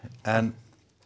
en